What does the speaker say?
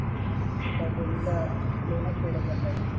आणि त्या खोलीचं लोनचं फेडत बसायचं.